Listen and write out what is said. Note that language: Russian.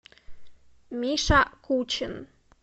миша кучин